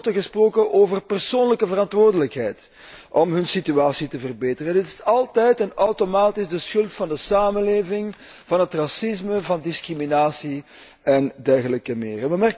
Nooit wordt er gesproken over persoonlijke verantwoordelijkheid om hun situatie te verbeteren. Het is altijd en automatisch de schuld van de samenleving, van het racisme, van discriminatie en dergelijke meer.